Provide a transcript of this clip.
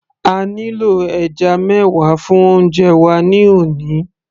a nílò ẹja mẹwa fún oúnjẹ wa ní òní